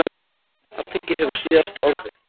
Alþingi hefur síðasta orðið